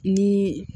Ni